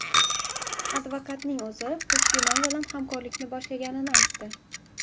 Advokatning o‘zi Puchdemon bilan hamkorlikni boshlaganini aytdi.